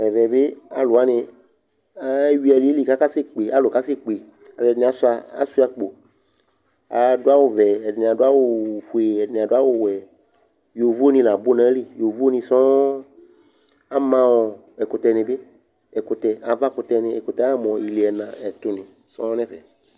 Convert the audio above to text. ɛvɛ bi alu wʋani ewui aliɛli kaka se kpe , alu kasɛkpealu ɛdini asʋia, asʋia akpo, adu awu vɛ, ɛdini adu awu fue, ɛdini adu awu wɛ, yovo ni la nu nu ayili, yovo ni sɔŋ, ama ɔ ɛkutɛ ni bi ɛkutɛ, ava kutɛ ni akutɛ ama mu ili ɛna ɛtu ni sɔŋ nɛfɛ